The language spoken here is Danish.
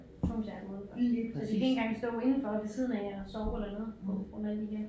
Tvunget til at have dem udenfor for de kan ikke engang stå indenfor ved siden af og sove eller noget på grund af de her